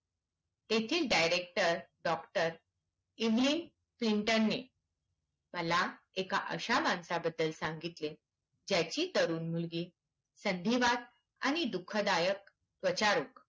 त्याचे director doctor एब्लीन सिंटरणे मला एका अश्या मानसाबद्दल सांगितले ज्याची तरुण मुलगी संधीवाद आणि दुखदायक परिस्थिति